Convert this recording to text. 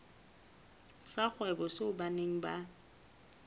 sa kgwebo seo beng ba